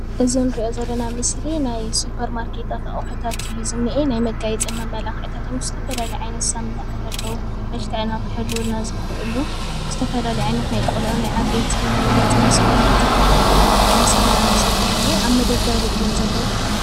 እዚ እንሪኦ ዘለና ምስሊ ናይ ስፐር ማርኬታት ኣቅሑታትእዩ ዝኒሀ። ናይ መጋየፅን መማላክዕታት እዮም ዝተፈላለዩ ዓይነታት ሳሙናታት ኣለው። መልክዕና ክሕልውና ዝክእሉ ዝተፈላለዩ ዓይነት ናይ ቆልዑ ናይ ዓበይቲ ናይ ገፅን ናይ ሰውነትን ናይ ሳሙና መጠሺ እዩ ዝኒሀ። ኣብ መደርደሪ እዮም ዘለው፡፡